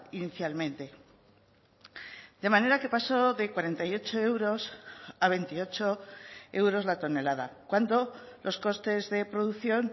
inicialmente de manera que pasó de cuarenta y ocho euros a veintiocho euros la tonelada cuando los costes de producción